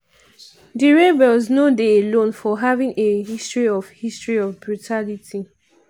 di rebels no dey alone for having a history of history of brutality.